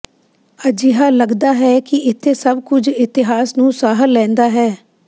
ਅਜਿਹਾ ਲਗਦਾ ਹੈ ਕਿ ਇੱਥੇ ਸਭ ਕੁਝ ਇਤਿਹਾਸ ਨੂੰ ਸਾਹ ਲੈਂਦਾ ਹੈ